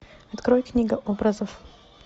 открой книга образов